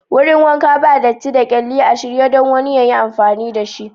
Wurin wankan ba dati da kyalli, a shirye don wani yayi amfani da shi.